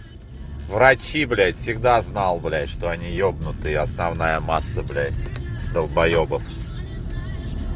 врачи блять всегда знал блять что они ебнутые основная масса блять долбоебов